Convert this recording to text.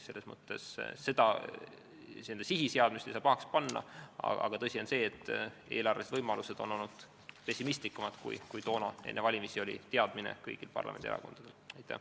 Selles mõttes ei saa sihi seadmist pahaks panna, aga tõsi on see, et eelarvelised võimalused on olnud väiksemad, kui enne valimisi oli kõigi parlamendierakondade teadmine.